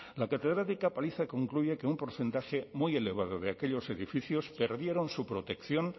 la catedrática paliza concluye que un porcentaje muy elevado de aquellos edificios perdieron su protección